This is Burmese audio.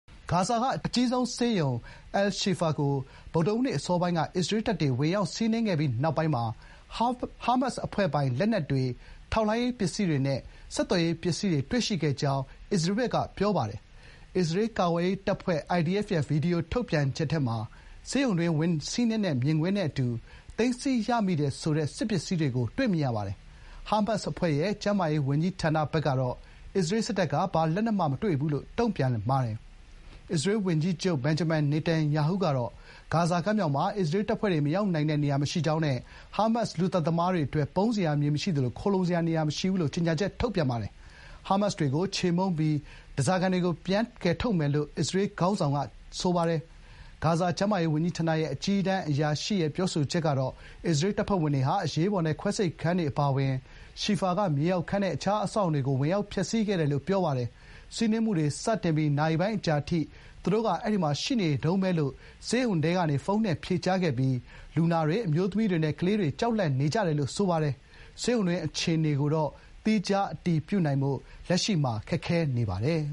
ဂါဇာက အကြီးဆုံးဆေးရုံ အယ်လ်-ရှီဖာ (Al-Shifa) ကို ဗုဒ္ဓဟူးနေ့အစောပိုင်းက အစ္စရေးတပ်တွေ ဝင်ရောက်စီးနင်းခဲ့ပြီးနောက်ပိုင်း ဟားမတ်စ်အဖွဲ့ပိုင် လက်နက်တွေ၊ ထောက်လှမ်းရေးပစ္စည်းတွေနဲ့ ဆက်သွယ်ရေးပစ္စည်းတွေ တွေ့ရှိခဲ့ကြောင်း ပြောပါတယ်။ အစ္စရေးကာကွယ်ရေးတပ်ဖွဲ့ (IDF) ရဲ့ ဗွီဒီယိုထုတ်ပြန်ချက်ထဲမှာ ဆေးရုံတွင်း ဝင်စီးနင်းတဲ့ မြင်ကွင်းနဲ့အတူ သိမ်းဆည်းရမိတယ်ဆိုတဲ့ စစ်ပစ္စည်းတွေကို တွေ့မြင်ရပါတယ်။ ဟားမတ်စ်အဖွဲ့ရဲ့ ကျန်းမာရေးဝန်ကြီးဌာနဘက်ကတော့ အစ္စရေးစစ်တပ်က ဘာလက်နက်မှ မတွေ့ဘူးလို့ တုံ့ပြန်ပါတယ်။ အစ္စရေးဝန်ကြီးချုပ် ဘင်ဂျမင် နေတန်ယာဟုကတော့ "ဂါဇာကမ်းမြောင်မှာ အစ္စရေးတပ်ဖွဲ့ မရောက်နိုင်တဲ့ နေရာမရှိကြောင်းနဲ့ ဟားမတ်စ် လူသတ်သမားတွေအတွက် ပုန်းစရာ မြေမရှိသလို ခိုလှုံစရာ နေရာမရှိဘူး။” လို့ ကြေညာချက်ထုတ်ပါတယ်။ “ဟားမတ်စ်တွေကို ချေမှုန်းပြီး ဓားစာခံတွေကို ပြန်ကယ်ထုတ်မယ်။” လို့ အစ္စရေးခေါင်းဆောင်က ဆိုပါတယ်။ ဂါဇာကျန်းမာရေးဝန်ကြီးဌာနရဲ့ အကြီးတန်းအရာရှိ Munir al-Boursh ကတော့ အစ္စရေးတပ်ဖွဲ့ဝင်တွေဟာ အရေးပေါ်နဲ့ ခွဲစိတ်ခန်းတွေအပါအဝင် ရှီဖာက မြေအောက်ခန်းနဲ့ အခြားအဆောက်အအုံတွေကို ဝင်ရောက်ဖျက်ဆီးခဲ့တယ်လို့ ပြောပါတယ်။ စီးနင်းမှုစတင်ပြီး နာရီပိုင်းအကြာအထိ “သူတို့က အဲဒီမှာရှိနေတုန်းပဲ” လို့ ဆေးရုံထဲကနေ ဖုန်းနဲ့ဖြေကြားခဲ့ပြီး "လူနာတွေ၊ အမျိုးသမီးတွေနဲ့ ကလေးတွေက ကြောက်လန့်နေကြတယ်" လိုဆိုပါတယ်။ ဆေးရုံတွင်းအခြေအနေကိုတော့ သီခြား အတည်ပြုနိုင်ဖို့ လက်ရှိမှာ ခက်ခဲနေပါတယ်